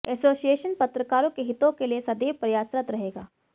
association पत्रकारों के हितों के लिए सदैव प्रयासरत रहेगा